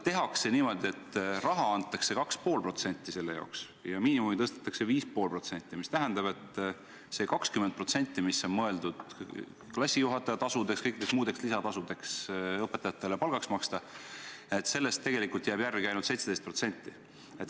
Tehakse niimoodi, et raha antakse 2,5% ja miinimumi tõstetakse 5,5%, mis tähendab, et sellest 20%, mis on mõeldud klassijuhatajatasudeks ja kõikideks muudeks lisatasudeks, mida õpetajatele saaks palgaks maksta, jääb järele ainult 17%.